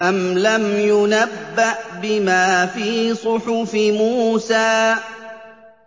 أَمْ لَمْ يُنَبَّأْ بِمَا فِي صُحُفِ مُوسَىٰ